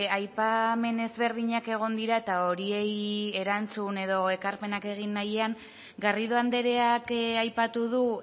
aipamen ezberdinak egon dira eta horiei erantzun edo ekarpenak egin nahian garrido andreak aipatu du